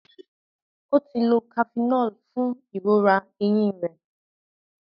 o tí ló Cafenol fún ìrora ẹhìn rẹ.